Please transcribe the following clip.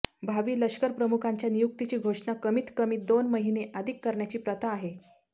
भावी लष्करप्रमुखांच्या नियुक्तीची घोषणा कमीत कमी दोन महिने आधी करण्याची प्रथा आहे